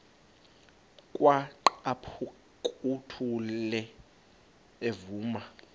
kwaqhaphuk uthuli evuma